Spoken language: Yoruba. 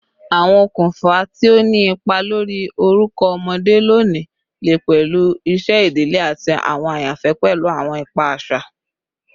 Awọn okunfa ti o ni ipa lori orukọ ọmọde loni le pẹlu iṣẹ idile ati awọn ayanfẹ pẹlu awọn ipa aṣa.